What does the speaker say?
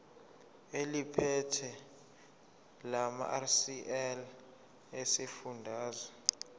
eliphethe lamarcl esifundazwe